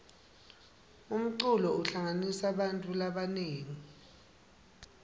umculo uhlanganisa bantfu labanengi